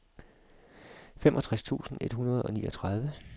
femogtres tusind et hundrede og niogtredive